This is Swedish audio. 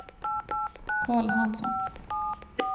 Carl Hansson